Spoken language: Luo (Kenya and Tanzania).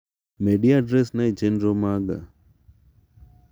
Medi adres na e chenro maga.